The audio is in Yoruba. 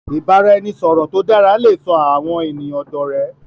ibaraẹnisọrọ tó dara lẹ sọ àwọn ènìyàn dó òré.